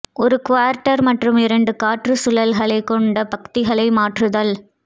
ஒரு குவார்ட்டர் மற்றும் இரண்டு காற்று சுழல்கள் கொண்ட பத்திகளை மாற்றுதல்